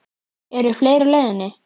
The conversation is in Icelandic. Eru fleiri á leiðinni?